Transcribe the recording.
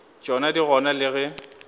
tšona di gona le ge